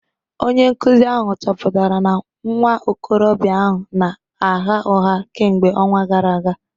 Onye nkụzi ahụ chọpụtara na nwa okorobịa ahụ na-agha ụgha kemgbe ọnwa gara aga